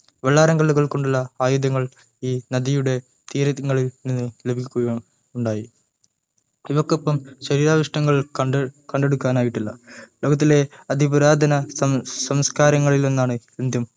വെള്ളാരം കല്ലുകൾകൊണ്ടുള്ള ആയുധങ്ങൾ ഈ നടിയുടെ തീരങ്ങളിൽ നിന്ന് ലഭിക്കുകയുണ്ടായി ഇവയ്ക്കൊപ്പം ശരീരാവശിഷ്ടങ്ങൾ കണ്ടെടുക്കാനായില്ല ലോകത്തിലേ അതിപുരാതന സംസകാരങ്ങളിലൊന്നാണ് Indian